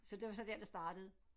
Så det var så der det startede